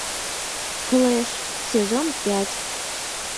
флэш сезон пять